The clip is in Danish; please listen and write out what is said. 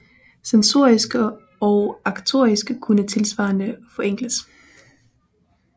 Sensorik og aktorik kunne tilsvarende forenkles